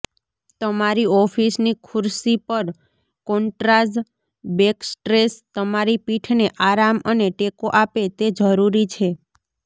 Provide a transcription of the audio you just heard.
તમારી ઑફિસની ખુરશી પર કોન્ટ્રાજ બેકસ્ટ્રેસ તમારી પીઠને આરામ અને ટેકો આપે તે જરૂરી છે